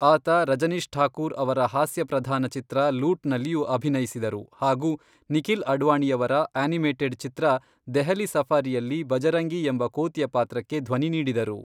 ಆತ ರಜನೀಶ್ ಠಾಕೂರ್ ಅವರ ಹಾಸ್ಯಪ್ರಧಾನ ಚಿತ್ರ ಲೂಟ್ನಲ್ಲಿಯೂ ಅಭಿನಯಿಸಿದರು ಹಾಗೂ ನಿಖಿಲ್ ಅಡ್ವಾಣಿಯವರ ಆನಿಮೇಟೆಡ್ ಚಿತ್ರ ದೆಹಲಿ ಸಫಾರಿಯಲ್ಲಿ ಭಜರಂಗಿ ಎಂಬ ಕೋತಿಯ ಪಾತ್ರಕ್ಕೆ ಧ್ವನಿ ನೀಡಿದರು.